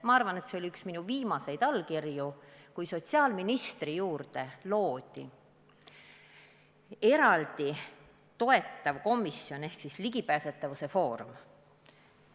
Ma arvan, et see oli üks minu viimaseid allkirju ministrina, et sotsiaalministri juurde loodaks eraldi toetav komisjon ehk ligipääsetavuse foorum.